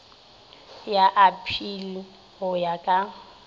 ya aphili go ya ka